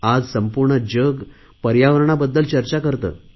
आज संपूर्ण जग पर्यावरणाबद्दल चर्चा करते आहे